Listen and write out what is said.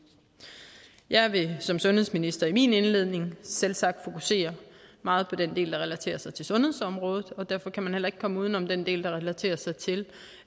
jeg vil som sundhedsminister i min indledning selvsagt fokusere meget på den del der relaterer sig til sundhedsområdet og derfor kan man heller ikke komme uden om den del der relaterer sig til